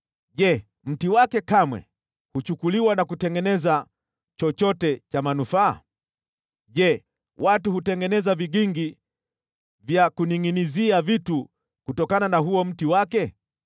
Je, mti wake kamwe huchukuliwa na kutengeneza chochote cha manufaa? Je, watu hutengeneza vigingi vya kuningʼinizia vitu kutokana na huo mti wake?